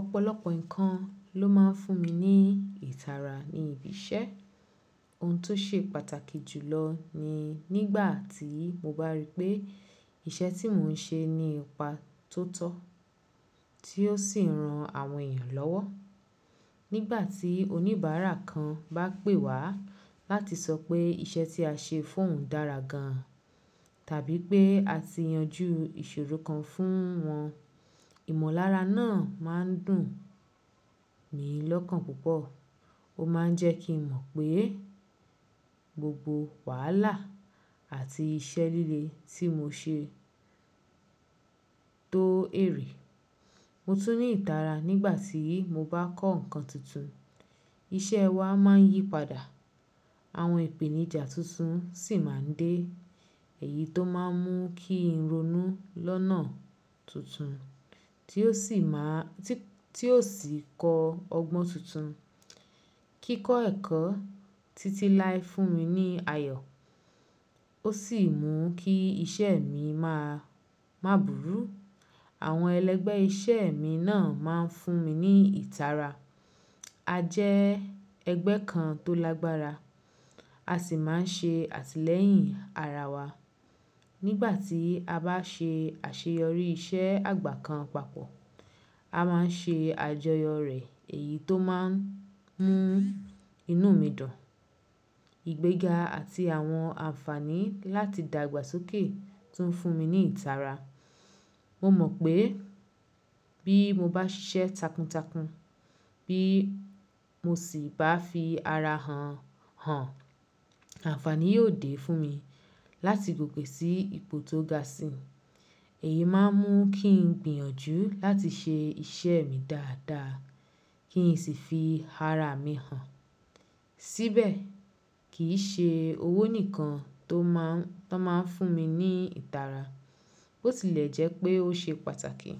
Ọ̀pọ̀lọpọ̀ nǹkan ló máa ń fún mi ní ìtara ní ibi iṣẹ́. Ohun tó ṣe pàtàkì jù lọ ni nígbàtí mo bá rí pé iṣẹ́ tí mò ń ṣe nípa tó tọ́ tí ó sì ran àwọn èèyàn lọ́wọ́. Nígbàtí oníbàárà kan bá pè wá láti sọ pé iṣẹ́ tí a ṣe fún òun dára gan tàbí pé a ti yanjú ìṣòro kan fún wọn, ìmọ̀lára náà máa ń dùn mí lọ́kàn púpọ̀. Ó máa ń jẹ́ kí n mọ̀ pé gbogbo wàhálà àti iṣẹ́ líle tí mo ṣe tó èrì. Mo tún ní ìtara nígbàtí mo bá kọ́ nǹkan tuntun. Iṣẹ́ wa máa ń yípadà, àwọn ìpèníjà tuntun sì máa ń dé, èyí tó máa ń mú kí n ronú lọ́nà tuntun tí ó sì má a-- tí, tí ó sì kọ ọgbọ́n tuntun. Kíkọ ẹ̀kọ́ títí láé fún mi ní ayọ̀ ó sì mú kí iṣẹ́ mi máa, má búru. Àwọn ẹlẹ́gbẹ́ iṣẹ́ mi náà máa ń fún mi ní ìtara. A jẹ́ ẹgbẹ́ kan tó lágbára, a sì máa ń ṣe àtìlẹyìn ara wa. Nígbàtí a bá ṣe àṣeyọrí iṣẹ́ àgbà kan papọ̀, a máa ń ṣe àjọyọ̀ rẹ̀ èyí tó máa ń mú inú mi dùn. Ìgbéga àti àwọn àǹfààní láti dàgbàsókè tún ń fún mi ní ìtara. Mo mọ̀ pé bí mo bá ṣiṣẹ́ takuntakun bí mo sì bá fi ara hàn, hàn, àǹfààní yóò dé fún mi láti gbogbo sí ipò tó ga sí. Èyí máa ń mú kí n gbìyànjú láti ṣe iṣẹ́ mi dáadáa kí n sì fi ara mi hàn. Síbẹ̀ kì í ṣe owó nìkan tó máa ń, tó máa ń fún mi ní ìtara. Bótílẹ̀jẹ́ pé ó ṣe pàtàkì,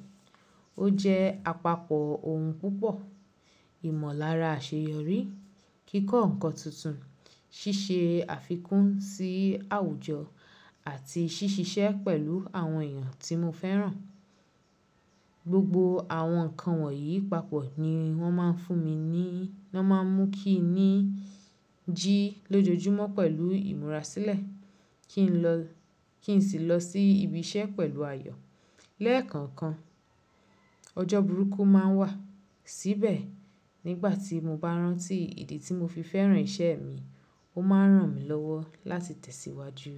ó jẹ́ àpapọ̀ ohun púpọ̀. Ìmọ̀lára àṣeyọrí, kíkọ́ nǹkan tuntun, ṣíṣe àfikún sí àwùjọ àti ṣíṣiṣẹ́ pẹ̀lú àwọn èèyàn tí mo fẹ́ràn. Gbogbo àwọn nǹkan wọ̀nyí papọ̀ ni wọ́n máa ń fún mi ní, wọ́n máa ń mú kí n jí lójoojúmọ́ pẹ̀lú ìmúra sílẹ̀ kí n lọ, kí n sì lọ sí ibi iṣẹ́ pẹ̀lú ayọ̀. Lẹ́ẹ̀kọ̀ọ̀kan ọjọ́ burúkú máa ń wà. Síbẹ̀ nígbàtí mo bá rántí ìdí tí mo fi fẹ́ràn iṣẹ́ mi, ó máa ń ràn mí lọ́wọ́ láti tẹ̀síwájú.